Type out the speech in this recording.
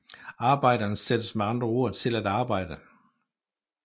Arbejderen sættes med andre ord til at arbejde